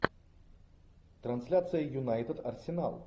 трансляция юнайтед арсенал